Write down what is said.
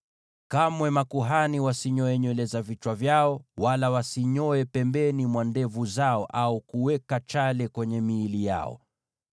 “ ‘Kamwe makuhani wasinyoe nywele za vichwa vyao wala wasinyoe pembeni mwa ndevu zao, au kuweka chale kwenye miili yao.